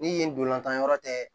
Ni yen ntolantan yɔrɔ tɛ